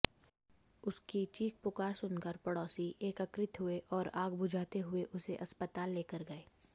उसकी चीख पुकार सुनकर पड़ोसी एकत्रित हुए और आग बुझाते हुए उसे अस्पताल लेकर गए